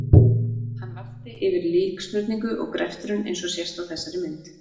Hann vakti yfir líksmurningu og greftrun eins og sést á þessari mynd.